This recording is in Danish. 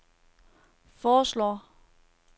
foreslår